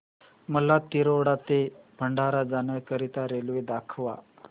मला तिरोडा ते भंडारा जाण्या करीता रेल्वे दाखवा